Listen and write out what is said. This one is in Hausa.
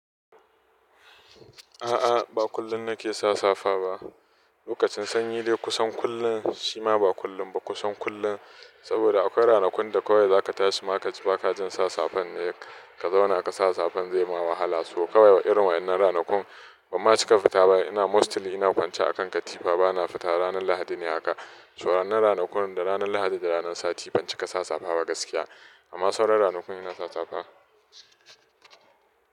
A'a, ba kullum na ke sa safa ba. Lokacin sanyi ne kusan kullum, shi ma ba kullum ba kusan kullum. Saboda akwai ranakun da kawai za ka tashi ma ka ji ba ka jin sa safa ne ka zauna ka sa safan zai ma wahala. Ko kawai irin waɗannan ranakun ban ma cika fita ba. Ina mostly ina kwance a kan katifa, ba na fita. Ranar Lahadi ne haka. To wannan na ranakun da ranar Lahadi da ranar sati, fanci ka sa safa ba gaskiya. Amma sauran ranakun ina sa safa.